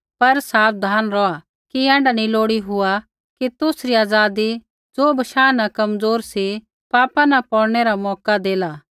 पर साबधान रौहा कि ऐण्ढा नी लोड़ी हुआ कि तुसरी आज़ादी ज़ो बशाह न कमज़ोर सी पापा न पौड़नै रा मौका देला